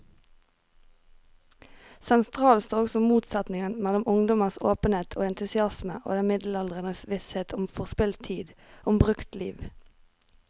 Sentralt står også motsetningen mellom ungdommens åpenhet og entusiasme og den middelaldrendes visshet om forspilt tid, om brukt liv.